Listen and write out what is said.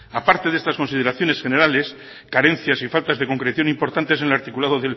aparte de esas consideraciones generales carencias y faltas de concreción importantes en el articulado